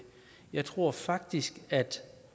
jeg tror faktisk at